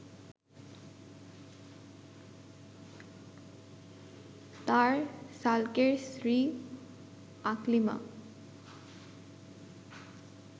তার শ্যালকের স্ত্রী আকলিমা